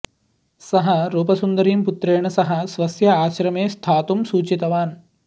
सः रूपसुन्दरीं पुत्रेण सह स्वस्य आश्रमे स्थातुं सूचितवान्